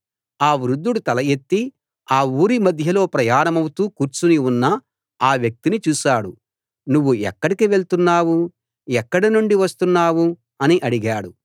ఆ వృద్ధుడు తల ఎత్తి ఆ ఊరి మధ్యలో ప్రయాణమవుతూ కూర్చుని ఉన్న ఆ వ్యక్తిని చూశాడు నువ్వు ఎక్కడికి వెళ్తున్నావు ఎక్కడినుండి వస్తున్నావు అని అడిగాడు